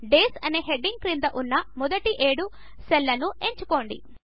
days అనే heading క్రింద ఉన్న మొదటి ఏడు సెల్స్ను ఎంచుకోండి